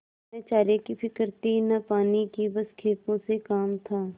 न चारे की फिक्र थी न पानी की बस खेपों से काम था